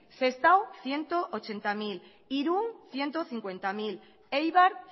sestao ciento ochenta mil irun ciento cincuenta mil eibar